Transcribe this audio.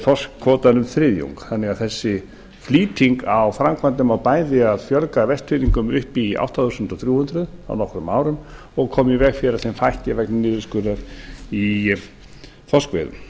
þorskkvótann um þriðjung þannig að þessi flýting á framkvæmdum á bæði að fjölga vestfirðingum upp í átta þúsund þrjú hundruð á nokkrum árum og koma í veg fyrir að þeim fækki vegna niðurskurðar í þorskveiðum